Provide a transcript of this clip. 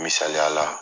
Misaliya la